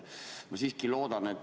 Ma siiski loodan.